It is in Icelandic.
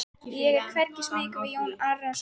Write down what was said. Ég er hvergi smeykur við Jón Arason.